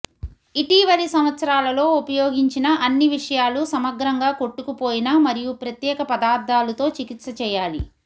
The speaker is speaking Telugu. ఇటీవలి సంవత్సరాలలో ఉపయోగించిన అన్ని విషయాలు సమగ్రంగా కొట్టుకుపోయిన మరియు ప్రత్యేక పదార్థాలు తో చికిత్స చేయాలి